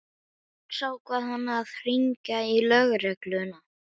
Loks ákvað hann að hringja í lögregluna.